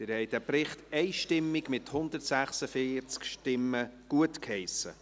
Sie haben diesen Bericht einstimmig, mit 146 Stimmen, gutgeheissen.